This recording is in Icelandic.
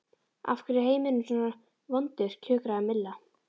Af hverju er heimurinn svona vondur kjökraði Milla.